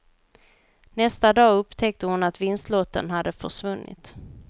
Nästa dag upptäckte hon att vinstlotten hade försvunnit.